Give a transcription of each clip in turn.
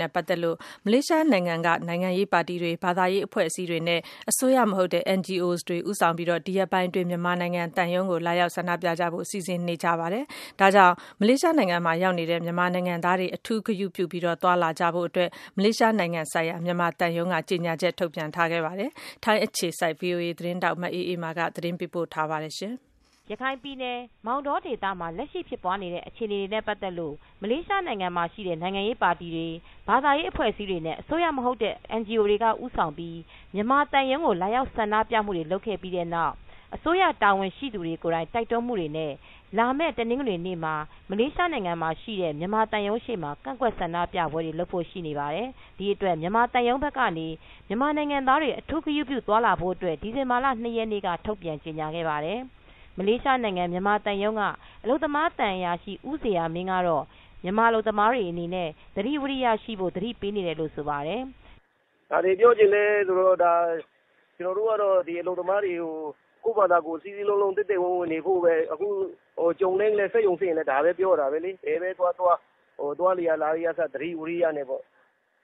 နဲ့ ပတ်သက်လို့ မလေးရှားနိုင်ငံမှာရှိတဲ့နိုင်ငံရေးပါတီတွေ ဘာသာရေး အဖွဲ့အစည်းတွေ နဲ့ အစိုးရမဟုတ်တဲ့ NGOs တွေက ဦးဆောင်ပြီး မြန်မာသံရုံးကို လာရောက် ဆန္ဒပြမှုတွေ ဒီရက်ပိုင်းအတွင်း ပြုလုပ်ဖို့ရှိနေတဲ့အတွက် မလေးရှားရောက် မြန်မာနိုင်ငံ သားတွေ အထူးဂရုပြု သွားလာဖို့အတွက် မလေးရှားနိုင်ငံဆိုင်ရာ မြန်မာသံရုံးက ထုတ်ပြန်ချက် ထုတ်ခဲ့ပါတယ်။ ထိုင်းအခြေစိုက် ဗွီအိုအေသတင်းထောက် မအေးအေးမာက သတင်းပေးပို့ထားပါတယ်။ ရခိုင်ပြည်နယ်၊ မောင်တောဒေသမှာ လက်ရှိဖြစ်ပွားနေတဲ့ အခြေအနေများနဲ့ ပတ်သက်လို့ မလေးရှားနိုင်ငံမှာ ရှိတဲ့နိုင်ငံရေးပါတီတွေဘာသာရေးအဖွဲ့အစည်းတွေ အစိုးရမဟုတ်တဲ့ NGOs တွေက ဦးဆောင်ပြီး မြန်မာသံရုံးကို လာရောက် ဆန္ဒပြမှုတွေ လုပ်ခဲ့ပြီး မလေးရှားအစိုးရ တာဝန်ရှိသူတွေကိုယ်တိုင် တိုက်တွန်းမူတွေနဲ့ လာမယ့် တနင်္ဂနွေနေ့မှာ မလေးရှားနိုင်ငံ မှာရှိတဲ့ မြန်မာ သံရုံးရှေ့မှာ ကန့်ကွက်ဆန္ဒပြပွဲတွေလုပ်ဖို့ရှိနေပါတယ်။ ဒီအတွက် မြန်မာသံရုံးဘက်ကနေ မြန်မာနိုင်ငံသားတွေ အထူးဂရုပြုသွားလာဖို့ အတွက် ဒီဇင်ဘာလ ၂ရက်နေ့က ထုတ်ပြန်ကြေညာခဲ့ပါတယ်။ မလေးရှားနိုင်ငံမြန်မာသံရုံးက အလုပ်သမားသံအရာရှိ ဦးဇေယျာမင်း ကတော့ မြန်မာ အလုပ်သမားတွေအနေနဲ့ သတိဝီရိယရှိဖို့ သတိပေးနေတယ်လို့ ဆိုပါတယ်။ "ဘာတွေပြောချင်လဲဆိုတော့ ကျနော်တို့ကတော့ ဒီအလုပ်သမားတွေကို ကိုယ့်ဘာသာကိုယ် စည်းစည်းလုံးလုံး သိုက်သိုက်ဝန်းဝန်းနေဖို့ပဲ။ အခုကြုံတိုင်း စက်ရုံဆင်းရင်လည်း ဒါပဲပြောတာပဲလေ။ ဘယ်ပဲသွားသွား သွားလေရာ လာလေရာကအစ သတိဝီရယနဲ့ပေါ့။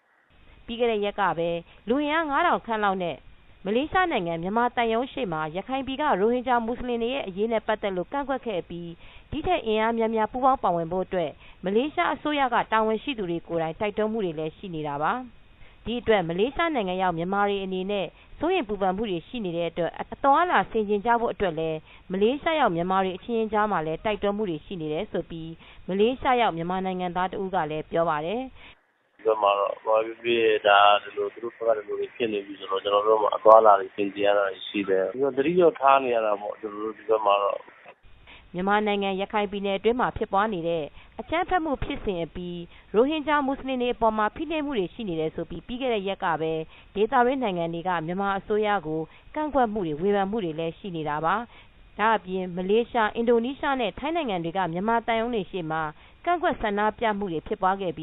" ပြီးခဲ့တဲ့ရက်ကပဲ လူအင်အား ၅၀၀၀ခန့်လောက်နဲ့ မလေးရှားနိုင်ငံမြန်မာသံရုံရှေမှာ ရခိုင်ပြည်က ရိုဟင်ဂျာ မူဆလင်တွေရဲ့အရေးနဲ့ ပတ်သက်လို ကန့်ကွက်ခဲ့အပြီး ဒီ့ထက်အင်အားများများ ပူးပေါင်းပါဝင်ဖို့အတွက် မလေးရှားအစိုးရ တာဝန်ရှိသူတွေ ကိုယ်တိုင် တိုက်တွန်းမူတွေလည်းရှိနေတာပါ။ ဒီအတွက် မလေးရှားရောက်မြန်မာတွေအနေနဲ့ စိုးရိမ်ပူပန်မူတွေ ရှိတဲ့အတွက် အသွားအလာဆင်ခြင်နိုင်ဖို့အတွက်လည်း မလေးရှားရောက်မြန်မာတွေ အချင်းချင်းကြား မှာလည်း တိုက်တွန်းမူတွေ ရှိနေတယ်လို့လည်း မလေးရှားရောက် မြန်မာနိုင်ငံသားတဦးကလည်း ပြောပါတယ်။ "ဒီဘက်မှာ ဘာပဲဖြစ်ဖြစ် သူတို့ဘက်က ဒီလိုတွေဖြစ်နေပြီဆိုတော့ ကျေျနာ်တို့မှာ အသွားအလာတွေ ဆင်ခြင်ရတာတွေရှိတယ်။ ဒီလိုပဲ သတိတော့ထားနေရတာပေါ့ ကျနော်တို့ ဒီဘက်မှာ။" မြန်မာနိုင်ငံ ရခိုင်ပြည်နယ်တွင်းမှာ ဖြစ်ပွားနေတဲ့ အကြမ်းဖက်မူဖြစ်စဉ်တွေအပြီး ရိုဟင်ဂျာ မူဆလင်တွေအပေါ်မှာ ဖိနှိပ်မူတွေ ရှိနေတယ် ဆိုပြီး ပြီးခဲ့တဲ့ ရက်တွေကပဲ ဒေသတွင်းနိုင်ငံတွေက မြန်မာအစိုးရကို ကန့်ကွက်မူတွေ ဝေဖန် မူတွေလည်း ရှိနေတာပါ။ ဒါအပြင် မလေးရှား အင်ဒိုနီးရှားနဲ့ ထိုင်းနိုင်ငံတွေက မြန်မာသံရုံးတွေရှေ့မှာ ကန့်ကွက်ဆန္ဒပြမူတွေ ရှိနေသ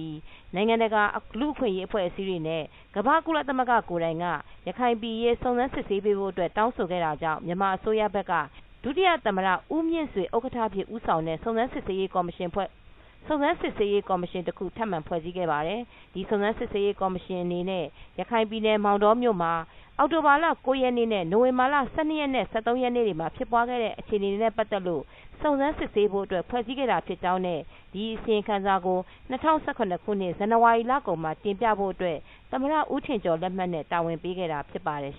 လို နိုင်ငံတကာလူအခွင့်ရေးအဖွဲ့အစည်းတွေနဲ့ ကမ္ဘာ့ကုလသမဂ္ဂ ကိုယ်တိုင်က ရခိုင်ပြည်အရေး စုံစမ်းစစ်ဆေးပေးဖို့ အတွက် တောင်းဆိုခဲ့တာကြောင့် မြန်မာအစိုးရဘက်က ဒုသမ္မတ ဦးမြင့်ဆွေ ဥက္ကဋ္ဌအဖြစ် ဦးဆောင်တဲ့ စုံစမ်းစစ်ဆေးရေးကော်မရှင်တခု ထပ်မံဖွဲ့စည်းခဲ့ပါတယ်။ ဒီစုံစမ်းရေးကော်မရှင်အနေနဲ့ ရခိုင်ပြည်မောင်တောမြို့မှာ အောက်တိုဘာလ ၉ရက်နေ့နဲ့ နိုဝင်ဘာလ ၁၂ နဲ့ ၁၃ရက်ေတွေမှာဖြစ်ပွားခဲ့တဲ့ အခြေအနေတွေနဲ့ ပတ်သက်လို့ စုံစမ်းစစ်ဆေးဖို့အတွက် ဖွဲစည်းခဲ့တာဖြစ်ကြောင်းနဲ့ ဒီအစီရင်ခံစာကို ၂၀၁၇ခုနှစ် ဇန်ဝါရီလကုန်မှာ တင်ပြဖို့အတွက် သမ္မတဦးထင်ကျော် လက်မှတ်နဲ့ တာဝန်ပေးခဲ့တာဖြစ်ပါတယ်